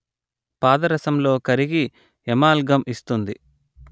పాదరసంలో కరిగి ఎమాల్గమ్ ఇస్తుంది